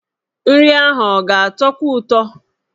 Nri ahụ ọ ga-atọkwu ụtọ?